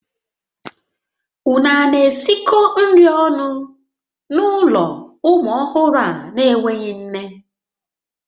Ụnụ a na-esikọ nri ọnụ n'ụlọ ụmụ ọhụrụ a n'enweghị nne?